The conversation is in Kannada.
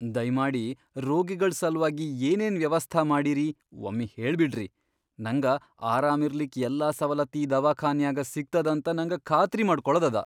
ದಯ್ಮಾಡಿ ರೋಗಿಗಳ್ ಸಲ್ವಾಗಿ ಏನೇನ್ ವ್ಯವಸ್ಥಾ ಮಾಡಿರಿ ವಮ್ಮಿ ಹೇಳ್ಬಿಡ್ರಿ. ನಂಗ ಆರಾಮಿರ್ಲಿಕ್ ಯಲ್ಲಾ ಸವಲತ್ ಈ ದವಾಖಾನ್ಯಾಗ ಸಿಗ್ತದಂತ ನಂಗ ಖಾತ್ರಿ ಮಾಡ್ಕೊಳದದ.